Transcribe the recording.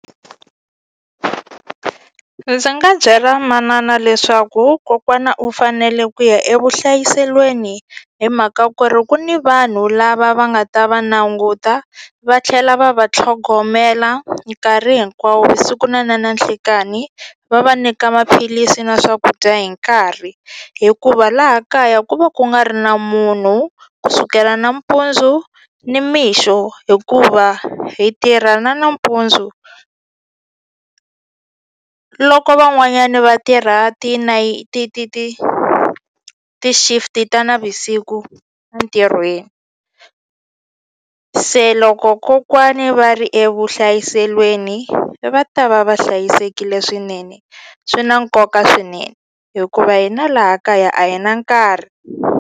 Ndzi nga byela manana leswaku kokwana u fanele ku ya evuhlayiselweni hi mhaka ku ri ku ni vanhu lava va nga ta va languta va tlhela va va tlhogomela nkarhi hinkwawo siku na na nanhlikani va va nyika maphilisi na swakudya hi nkarhi hikuva laha kaya ku va ku nga ri na munhu ku sukela nampundzu nimixo hikuva hi tirha na nampundzu loko van'wanyani va tirha ti ti ti ti ti-shift ta navusiku a ntirhweni se loko kokwani va ri evuhlayiselweni va ta va va hlayisekile swinene swi na nkoka swinene hikuva hina laha kaya a hi na nkarhi.